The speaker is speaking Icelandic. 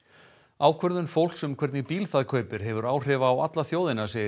ákvörðun fólks um hvernig bíl það kaupir hefur áhrif á alla þjóðina segir